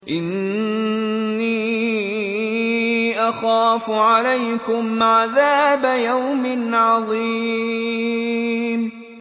إِنِّي أَخَافُ عَلَيْكُمْ عَذَابَ يَوْمٍ عَظِيمٍ